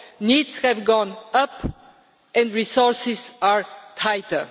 Needs have gone up and resources are tighter.